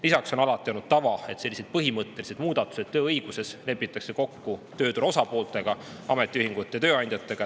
Lisaks on alati olnud tava, et sellised põhimõttelised muudatused tööõiguses lepitakse kokku tööturu osapooltega: ametiühingute ja tööandjatega.